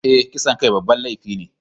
Eh, kisan kai babban laifi ne.